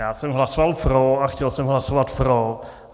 Já jsem hlasoval pro a chtěl jsem hlasovat pro.